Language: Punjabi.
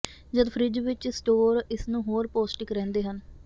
ਜਦ ਫਰਿੱਜ ਵਿੱਚ ਸਟੋਰ ਇਸ ਨੂੰ ਹੋਰ ਪੌਸ਼ਟਿਕ ਰਹਿੰਦੇ ਹਨ